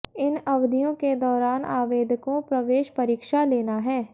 इन अवधियों के दौरान आवेदकों प्रवेश परीक्षा लेना है